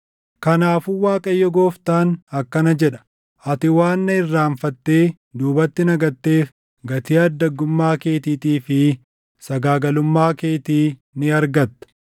“Kanaafuu Waaqayyo Gooftaan akkana jedha: Ati waan na irraanfattee duubatti na gatteef gatii addaggummaa keetiitii fi sagaagalummaa keetii ni argatta.”